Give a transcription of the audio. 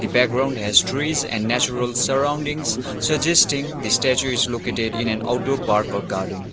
background has trees and natural surroundings suggesting the statue is located in an outdoor park or garden.